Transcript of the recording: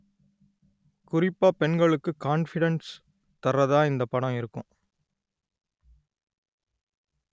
குறிப்பா பெண்களுக்கு கான்பிடென்ட் தர்றதா இந்தப் படம் இருக்கும்